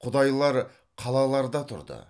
құдайлар қалаларда тұрды